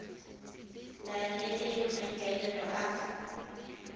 na le le maikaelelo a